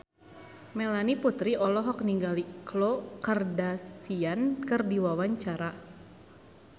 Melanie Putri olohok ningali Khloe Kardashian keur diwawancara